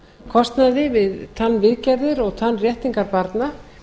kostnaði við tannviðgerðir og tannréttingar barna